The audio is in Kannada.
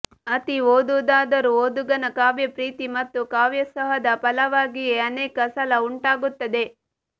ಅತಿ ಓದಾದರೋ ಓದುಗನ ಕಾವ್ಯಪ್ರೀತಿ ಮತ್ತು ಕಾವ್ಯೋತ್ಸಾಹದ ಫಲವಾಗಿಯೇ ಅನೇಕ ಸಲ ಉಂಟಾಗುತ್ತದೆ